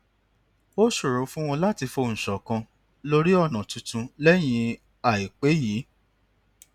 ó ṣòro fún wọn láti fohùn ṣòkan lórí ònà tuntun lẹyìn àìpé yìí